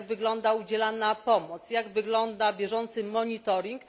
Jak wygląda udzielana pomoc? Jak wygląda bieżący monitoring?